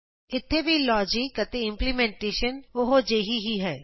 ਇਥੇ ਵੀ ਲੋਜਕ ਅਤੇ ਇੰਪਲੀਮੇਨਟੇਸ਼ਨ ਉਹੋ ਜਿਹੀ ਹੀ ਹੈ